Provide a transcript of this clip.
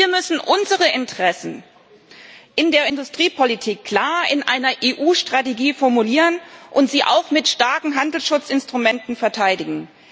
Wir müssen unsere Interessen in der Industriepolitik klar in einer EU-Strategie formulieren und sie auch mit starken Handelsschutzinstrumenten verteidigen.